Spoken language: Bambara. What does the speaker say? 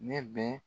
Ne bɛ